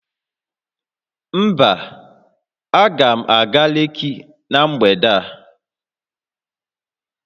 Mba, aga m aga Lekki na mgbede a